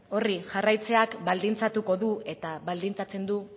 horri jarraitzeak baldintzatu dut eta baldintzatzen dut